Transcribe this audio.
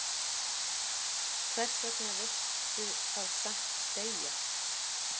Hversvegna viltu þá samt deyja?